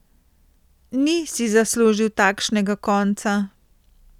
Ni si zaslužil takšnega konca.